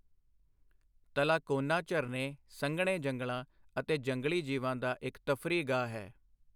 ਤਲਾਕੋਨਾ ਝਰਨੇ, ਸੰਘਣੇ ਜੰਗਲਾਂ ਅਤੇ ਜੰਗਲੀ ਜੀਵਾਂ ਦਾ ਇੱਕ ਤਫ਼ਰੀਹਗਾਹ ਹੈ।